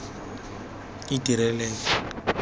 itireleng